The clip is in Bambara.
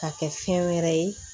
Ka kɛ fɛn wɛrɛ ye